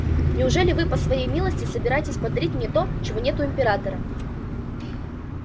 неужели вы по своей милости собираетесь подарить мне то чего нет у императора